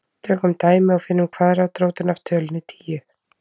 Tökum dæmi og finnum kvaðratrótina af tölunni tíu.